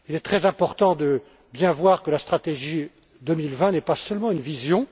Il est très important de bien comprendre que la stratégie 2020 n'est pas seulement une vision.